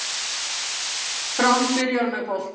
Fram byrjar með boltann